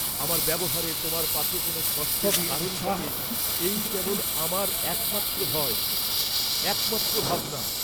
আমার ব্যবহারে তোমার পাছে কোন কষ্টের কারণ ঘটে এই কেবল আমার এক মাত্র ভয়, এক মাত্র ভাবনা।